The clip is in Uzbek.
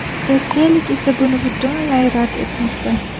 Rossiyalik esa buni butunlay rad etmoqda.